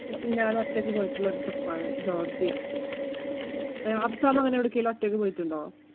ഞാനൊറ്റയ്ക്ക് പോയിട്ടുള്ള ഒരു trip ആണ് ജോര്‍ജിയ. അഫ്സാം അങ്ങനെ എവിടേക്കിലും ഒറ്റയ്ക്ക് പോയിട്ടുണ്ടോ?